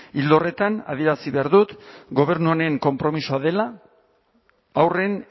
ildo horretan adierazi behar dut gobernu honen konpromisoa dela haurren